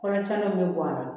Kɔrɔ caman bɛ bɔ a la